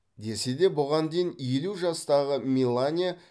десе де бұған дейін елу жастағы мелания